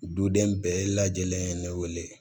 Duden bɛɛ lajɛlen ye ne wele